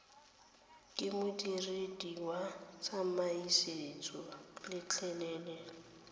ke modiredi wa tsamaisoeesa letleleleng